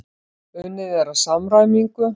Unnið er að samræmingu.